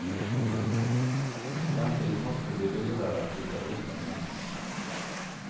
Samtidigt måste det bli dyrare att flytta utomlands.